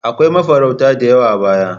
Akwai mafarauta da yawa a baya.